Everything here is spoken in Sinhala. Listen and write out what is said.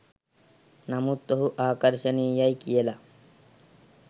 නමුත් ඔහු ආකර්ශනීයයි කියල